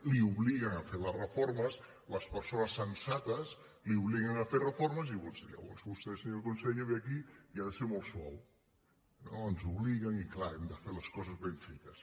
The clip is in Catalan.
l’obliguen a fer les reformes les persones sensates l’obliguen a fer reformes i llavors vostè senyor conseller ve aquí i ha de ser molt suau diu no ens hi obliguen i clar hem de fer les coses ben fetes